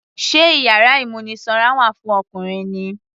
Sé iyàrá ìmúnisanra wà fún Ọkùnrin ni.